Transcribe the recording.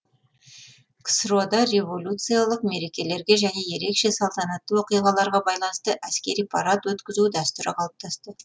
ксро да революциялық мерекелерге және ерекше салтанатты оқиғаларға байланысты әскери парад өткізу дәстүрі қалыптасты